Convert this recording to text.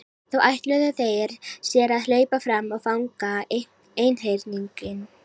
Þá ætluðu þeir sér að hlaupa fram og fanga einhyrninginn.